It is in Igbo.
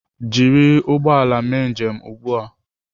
Jiri ụgbọ ala mee njem ugbu a!